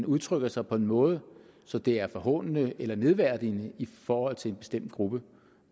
udtrykker sig på en måde så det er forhånende eller nedværdigende i forhold til en bestemt gruppe